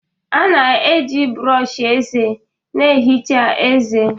A na-eji brọsh eze na-ehicha ezé.